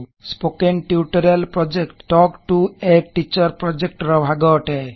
spoken tutorial project talk to a teacher project ର ଭାଗ ଅଟେ